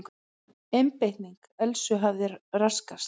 Einbeiting Elsu hafði raskast.